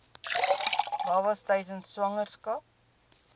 babas tydens swangerskap